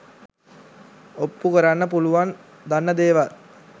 ඔප්පු කරන්න පුළුවන් දන්න දේවල්